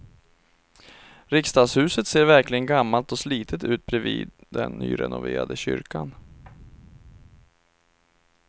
Riksdagshuset ser verkligen gammalt och slitet ut bredvid den nyrenoverade kyrkan.